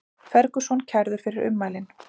Ferguson kærður fyrir ummælin